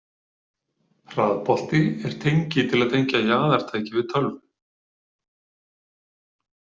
Hraðbolti er tengi til að tengja jaðartæki við tölvu.